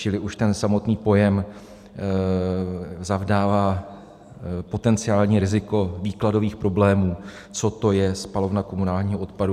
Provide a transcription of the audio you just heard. Čili už ten samotný pojem zavdává potenciální riziko výkladových problémů, co to je spalovna komunálního odpadu.